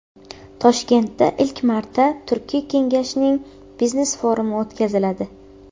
Toshkentda ilk marta Turkiy kengashning biznes forumi o‘tkaziladi.